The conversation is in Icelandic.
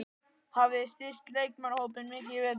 Hafið þið styrkt leikmannahópinn mikið í vetur?